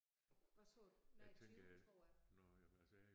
Hvad sagde nej 20 tror jeg